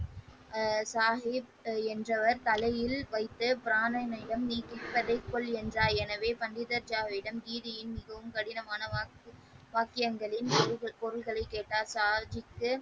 ஆ சாகிப் என்றவர் தலையில் வைத்து பிராணனை நீ கேட்பதை கொள் என்றார் எனவே பண்டிதர்ரிடம் வீதியின் மிகவும் கடினமான வாக்கியங்களின் பொருள்களை கேட்டார் சாகிப்பின்.